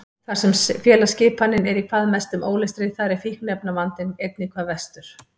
Þar sem félagsskipanin er í hvað mestum ólestri þar er fíkniefnavandinn einnig hvað verstur.